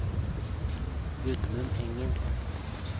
Gudmund Engen